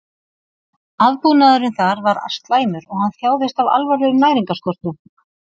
Aðbúnaðurinn þar var slæmur og hann þjáðist af alvarlegum næringarskorti.